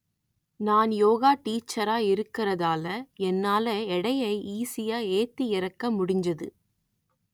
நான் யோகா டீச்சரா இருக்கிறதால என்னால எடையை ஈஸியா ஏத்தி இறக்க முடிஞ்சது